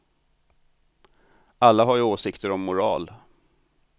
Alla har ju åsikter om moral.